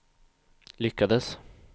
lyckades